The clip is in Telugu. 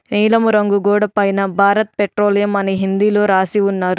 నీలము రంగు గోడ పైన భారత్ పెట్రోలియం అని హిందీ లో రాసి ఉన్నారు.